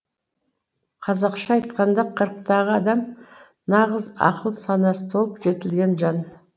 қазақша айтқанда қырықтағы адам нағыз ақыл санасы толып жетілген жан